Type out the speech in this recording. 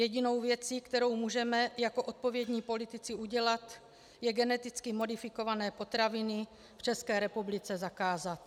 Jedinou věcí, jakou můžeme jako odpovědní politici udělat, je geneticky modifikované potraviny v České republice zakázat.